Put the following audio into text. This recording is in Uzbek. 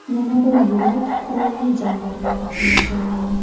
Yana bir yo‘lak qurolli jangarilar uchun mo‘ljallangan.